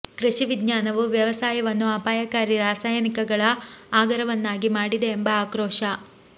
ಕೃಷಿ ವಿಜ್ಞಾನವು ವ್ಯವಸಾಯವನ್ನು ಅಪಾಯಕಾರಿ ರಾಸಾಯನಿಕಗಳ ಆಗರವನ್ನಾಗಿ ಮಾಡಿದೆ ಎಂಬ ಆಕ್ರೋಶ